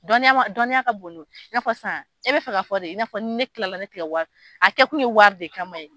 Dɔnniya ma dɔnniya ka bolo ka bon ko yi, i na sisan e bɛ fɛ ka fɔ de i nafɔ ni ne kilala ne tɛ wari di a kɛ kun ye wari de kama ye.